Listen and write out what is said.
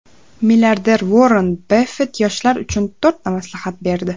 Milliarder Uorren Baffet yoshlar uchun to‘rtta maslahat berdi.